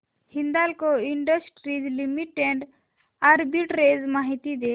Hindalco industries limited arbitrage माहिती दे